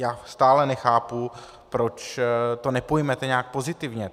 Já stále nechápu, proč to nepojmete nějak pozitivně.